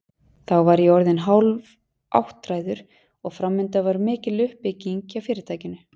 Þá var ég orðinn hálfáttræður og framundan var mikil uppbygging hjá fyrirtækinu.